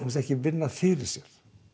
ekki vinna fyrir sér